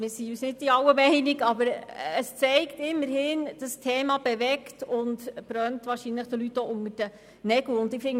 Wir sind uns nicht in allem einig, aber es zeigt immerhin, dass das Thema bewegt und es den Leuten unter den Nägeln brennt.